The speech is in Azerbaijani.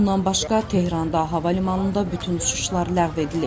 Bundan başqa Tehranda hava limanında bütün uçuşlar ləğv edilib.